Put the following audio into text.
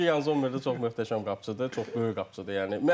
Çünki Yan Zommer də çox möhtəşəm qapıçıdır, çox böyük qapıçıdır, yəni.